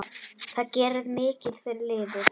Það gerir mikið fyrir liðið.